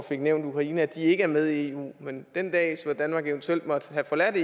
fik nævnt ukraine ikke er med i eu men den dag hvor danmark eventuelt måtte have forladt